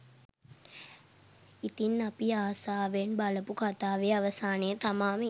ඉතින් අපි ආසාවෙන් බලපු කතාවේ අවසානය තමා මේ